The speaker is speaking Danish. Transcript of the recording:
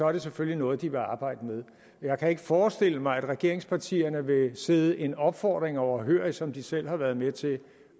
er det selvfølgelig noget de vil arbejde med jeg kan ikke forestille mig at regeringspartierne vil sidde en opfordring overhørig som de selv har været med til